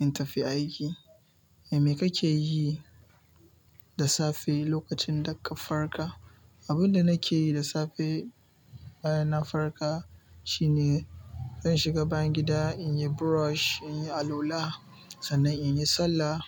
in tafi aiki. Me ka keyi da safe lokacin da ka farka? Abin da nake yi da safe bayan na farka shine zan shiga bayan gida in yi brush, in yi allula, sannan in yi sallah.